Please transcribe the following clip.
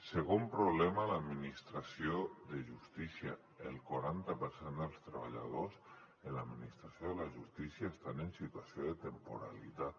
segon problema a l’administració de justícia el quaranta per cent dels treballadors en l’administració de la justícia estan en situació de temporalitat